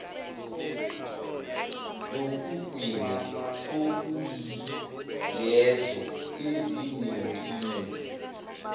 zokugwinya okuyilezo ezinenkinga